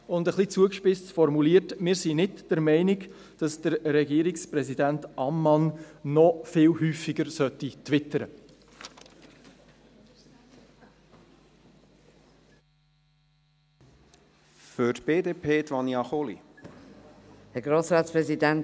Etwas zugespitzt formuliert: Wir sind nicht der Meinung, dass Regierungspräsident Ammann noch viel häufiger twittern sollte.